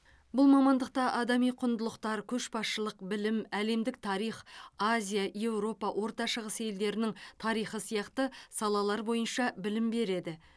бұл мамандықта адами құндылықтар көшбасшылық білім әлемдік тарих азия еуропа орта шығыс елдерінің тарихы сияқты салалар бойынша білім береді